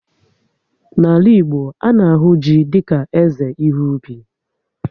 N'ala Igbo, a na-ahụ ji dika eze ihe ubi